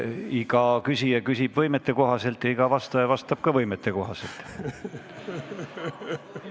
Iga küsija küsib võimete kohaselt ja iga vastaja vastab ka võimete kohaselt.